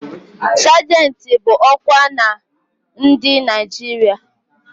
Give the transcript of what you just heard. Sajentị bụ ọkwa na ndị Naịjirịa